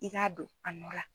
I k'a don a nɔ la.